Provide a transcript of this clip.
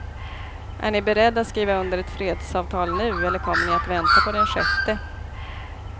Är ni beredd att skriva under ett fredsavtal nu eller kommer ni att vänta på den sjätte?